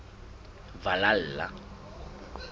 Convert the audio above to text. valhalla